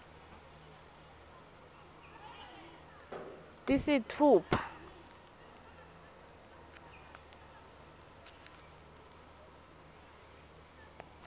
tisitfupha